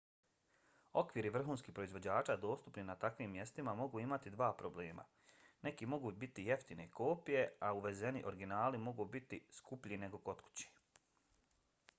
okviri vrhunskih proizvođača dostupni na takvim mestima mogu imati dva problema: neki mogu biti jeftine kopije a uvezeni originali mogu biti skuplji nego kod kuće